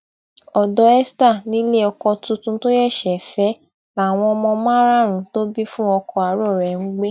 ọdọ esther nílé ọkọ tuntun tó ṣẹṣẹ fẹ láwọn ọmọ márààrúnún tó bí fún ọkọ àárò rẹ ń gbé